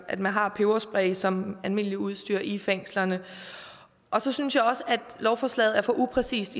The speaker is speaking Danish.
at man har peberspray som almindeligt udstyr i fængslerne og så synes jeg også at lovforslaget er for upræcist